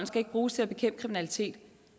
skal bruges til at bekæmpe kriminalitet